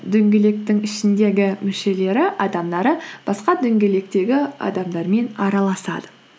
дөңгелектің ішіндегі мүшелері адамдары басқа дөңгелектегі адамдармен араласады